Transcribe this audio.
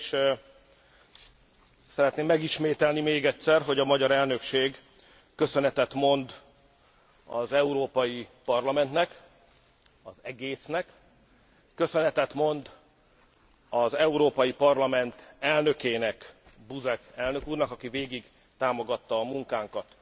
Először is szeretném megismételni még egyszer, hogy a magyar elnökség köszönetet mond az Európai Parlamentnek, az egésznek, köszönetet mond az Európai Parlament elnökének, Buzek elnök úrnak, aki végig támogatta a munkánkat,